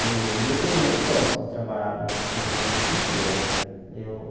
E eu, pelo menos, gosto de trabalhar no no ramo de pintura, né? Eu